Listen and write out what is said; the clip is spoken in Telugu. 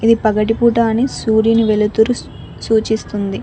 ఈ పగటిపూట అని సూర్యుని వెలుతురు సూచిస్తుంది.